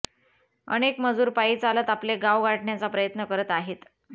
अनेक मजूर पायी चालत आपले गाव गाठण्याचा प्रयत्न करत आहेत